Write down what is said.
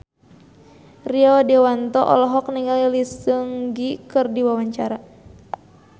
Rio Dewanto olohok ningali Lee Seung Gi keur diwawancara